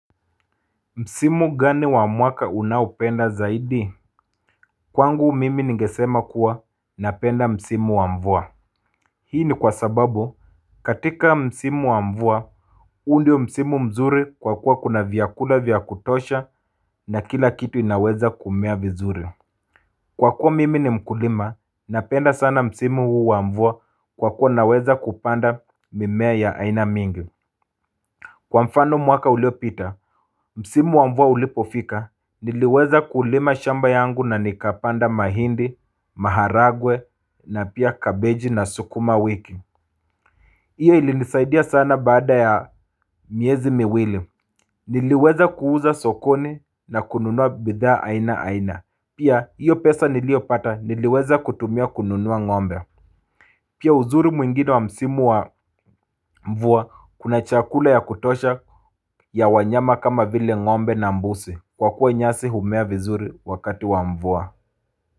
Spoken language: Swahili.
Msimu gani wa mwaka unaupenda zaidi? Kwangu mimi ningesema kuwa napenda Msimu wa mvua Hii ni kwa sababu katika msimu wa mvua huu ndio msimu mzuri kwa kuwa kuna vyakula vyakutosha na kila kitu inaweza kumea vizuri. Kwa kuwa mimi ni mkulima napenda sana msimu huu wa mvua kwa kuwa naweza kupanda mimea ya aina mingi Kwa mfano mwaka ulio pita, msimu wa mvua ulipofika, niliweza kulima shamba yangu na nikapanda mahindi, maharagwe na pia kabeji na sukuma wiki Iyo ili nisaidia sana baada ya miezi miwili Niliweza kuuza sokoni na kununua bidha aina aina, pia iyo pesa niliopata niliweza kutumia kununua ngombe Pia uzuri mwingine wa msimu wa mvua kuna chakula ya kutosha ya wanyama kama vile ngombe na mbuzi kwa kuwa nyasi humea vizuri wakati wa mvua.